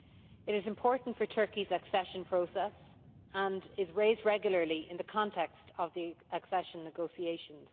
It is important for Turkey's accession process, and is raised regularly in the context of the accession negotiations.